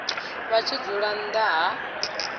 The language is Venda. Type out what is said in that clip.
vha tshi dzula nnḓa ha